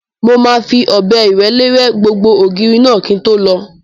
Mo máa fi ọ̀bẹ ìrẹ́lé rẹ́ gbogbo ògiri náà kí n tó lọ